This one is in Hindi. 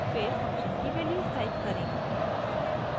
फिर फंक्शन की वैल्यूज़ टाइप करें